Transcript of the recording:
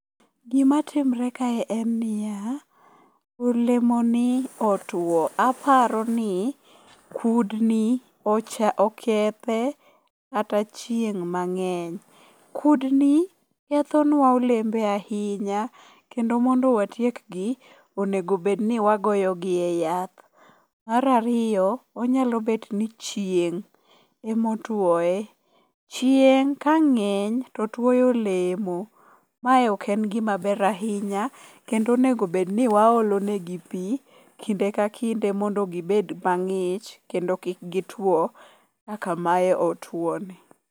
Gimatimre kae en niya, olemoni otuwo, aparo ni kudni okethe kata chieng' mang'eny. Kudni kethonwa olembe ahinya kendo mondo watiek gi, onego bedni wagoyo gi e yath. Mar ariyo, onyalo bet ni chieng' emotuoye. Chieng' ka ng'eny totuoyo olemo ,mae ok en gimaber ahinya kendo onego bed ni waolo negi pi kinde ka kinde mondo gibed mang'ich, kendo kik gituwo kaka mae otuwoni.